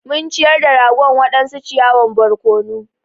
Mun ciyar da ragon waɗansu ciyawan barkono.